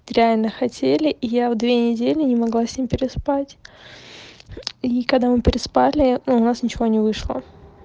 реально хотели и я в две недели не могла с ним переспать и когда мы переспали ну у нас ничего не вышло